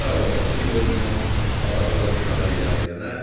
Uşaq babası ilə oynayar, babası da uşağı ilə əylənər,